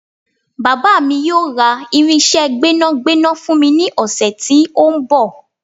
Bàbá mi yóò ra irinsé gbẹ́nàgbẹ́nà fún mi ní ọ̀sẹ̀ tí ó ń bọ̀